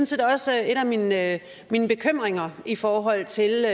set også en af mine bekymringer i forhold til